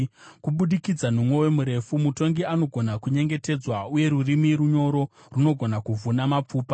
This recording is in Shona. Kubudikidza nomwoyo murefu mutongi anogona kunyengetedzwa, uye rurimi runyoro runogona kuvhuna mapfupa.